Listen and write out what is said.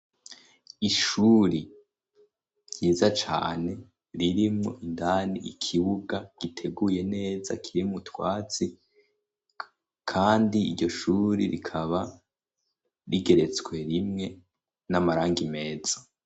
Ishuri ryiza cane, ririmwo indani ikibuga giteguye neza kirimwo utwatsi, kandi iryo shuri rikaba rigeretswe rimwe n'amarangi meza.